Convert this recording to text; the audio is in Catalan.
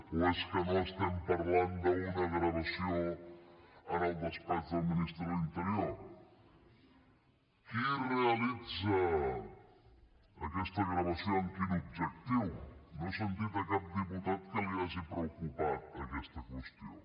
o és que no estem parlant d’una gravació en el despatx del ministre de l’interior qui realitza aquesta gravació amb quin objectiu no he sentit cap diputat que li hagi preocupat aquesta qüestió